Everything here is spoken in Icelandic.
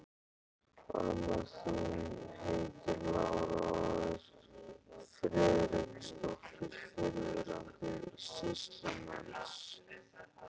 Amma þín heitir Lára og er Friðriksdóttir, fyrrverandi sýslumanns.